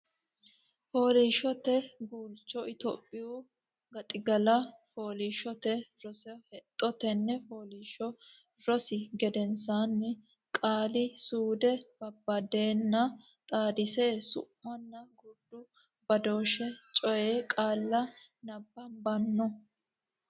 Fooliishshote Guulcho Itophiyu Gaxigalla Fooliishshote Rosi Hexxo Tenne Fooliishsho rosi gedensaanni Qaali suude babbaddenna xaadisse Su munna gurdu badooshshe coy qaalla nabbabbanno.